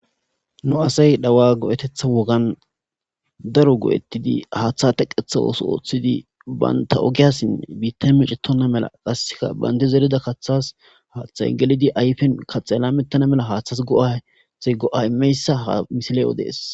nu asay dhawa go7etetha wogan daro goo7ettidi haaththa teqetha ooso ooththidi baynta ogiyassinne biitta micetona mela qasseka bayndi zerida kaththas haaththay gelidi ayfen kaxela mettana mela haaththas go7ate go7a imeyssa ha misile7o dees